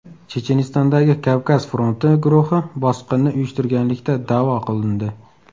Chechenistondagi Kavkaz fronti guruhi bosqinni uyushtirganlikda da’vo qilindi.